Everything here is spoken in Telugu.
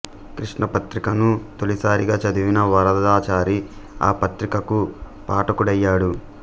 కృష్ణా పత్రికను తొలిసారిగా చదివిన వరదాచారి ఆ పత్రికకు పాఠకుడయ్యాడు